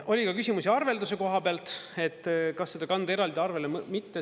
Oli ka küsimusi arvelduse koha pealt, et kas seda kanda eraldi arvele või mitte.